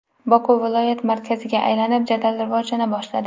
Boku viloyat markaziga aylanib, jadal rivojlana boshladi.